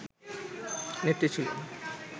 নেত্রী ছিল